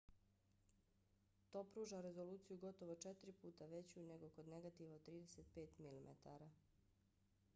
to pruža rezoluciju gotovo četiri puta veću nego kod negativa od 35 mm 3136 mm2:864